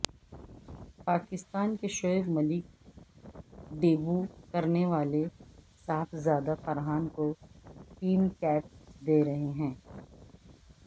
پاکستان کے شعیب ملک ڈیبو کرنے والے صحابزادہ فرحان کو ٹیم کیپ دے رہے ہیں